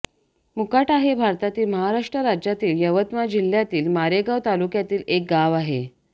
मुकाटा हे भारतातील महाराष्ट्र राज्यातील यवतमाळ जिल्ह्यातील मारेगांव तालुक्यातील एक गाव आहे